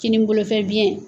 Kinin bolofɛ biyɛn